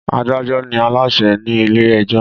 Adájọ́ ni Aláṣẹ ni ilé ẹjọ́